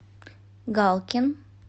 галкин